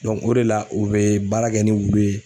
o de la u bɛ baara kɛ ni u ye.